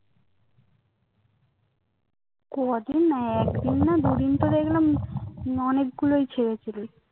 কদিন না একদিন না দুদিন তো দেখলাম অনেকগুলোই ছেড়েছিলি